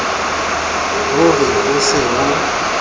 ho re ho se ho